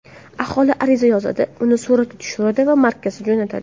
Aholi ariza yozadi, uni suratga tushiradi va markazga jo‘natadi.